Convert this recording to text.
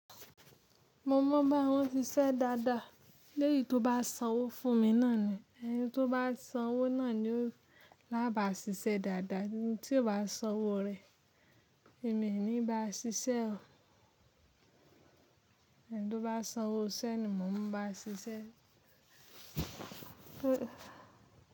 Mo mọ báwọn ṣíṣe dáadáa. Léyin tó bá sanwó fún mi náà ni. Ẹni tó bá sanwó náà ni lába ṣíṣe dáadáa. Ẹni tí ó bá sanwó rẹ̀, èmi ni ba ṣiṣẹ́. Ẹni tó bá sanwó iṣẹ́ ni mò ń bá ṣiṣẹ́.